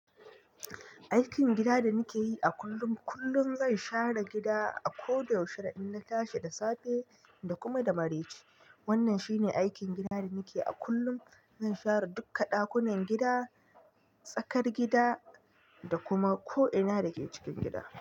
Aikin gida da nike yi a kullum, kullum zan share gida a ko da yaushe in na tashi da safe da kuma da dare. Wannan shine aikin gida da nake yi a kullum. Zan share duka ɗakunan gida, tsakar gida, da kuma ko ina da ke cikin gida.